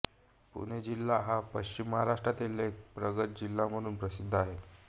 पुणे जिल्हा हा पश्चिम महाराष्ट्रातील एक प्रगत जिल्हा म्हणून प्रसिद्ध आहे